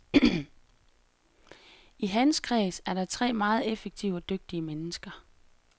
I hans kreds er der tre meget effektive og dygtige mennesker.